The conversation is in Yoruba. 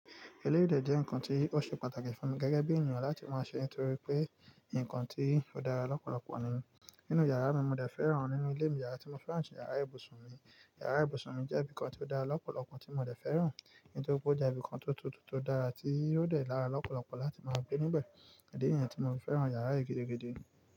Eléyìí de jẹ́ nǹkan tí ó ṣe pàtàkì fún mi gẹ́gẹ́ bí ènìyàn láti máa ṣe, nítorí pé nǹkan tí ó dára lọ́pọ̀lọpọ̀ ni. Nínú yàrá mi, mo dà fẹ́ràn nínú ilé mi, yàrá tí mo fẹ́ràn jù ni yàrá ibùsùn mi. Yàrá ibùsùn mi jẹ́ ibì kan tí ó dá lọ́pọ̀lọpọ̀ tí mo de fẹ́ràn. Èyí tó kójá ibìkan tó tutù tó dára tí ó dẹ̀ dára lọ́pọ̀lọpọ̀ láti máa gbé níbẹ̀. Ìdí nìyẹn tí mo fi fẹ́ràn yàrá yìí gidigidi.